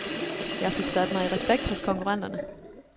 Jeg fik sat mig i respekt hos konkurrenterne.